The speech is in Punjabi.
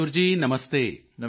ਮਯੂਰ ਜੀ ਨਮਸਤੇ